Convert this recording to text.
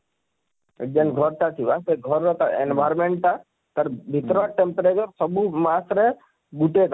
ଯେନ ଘର ଟା ଥିବା ସେ ଘର ତାର environment ଟା ତାର ଭିତରେ Temperature ସବୁ ମାସ ରେ ଗୁଟେ